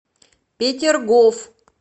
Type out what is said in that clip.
петергоф